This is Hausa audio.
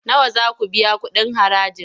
Nawa za ku biya kuɗin haraji?